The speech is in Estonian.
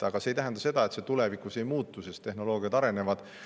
Aga see ei tähenda seda, et see tulevikus ei muutu, sest tehnoloogiad arenevad.